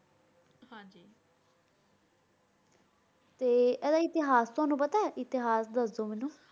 ਤੇ ਏਡਾ ਇਤਿਹਾਸ ਤਨੁ ਪਤਾ ਆਯ ਇਤਿਹਾਸ ਦਸ ਦੂ ਮੇਨੂ